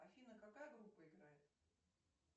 афина какая группа играет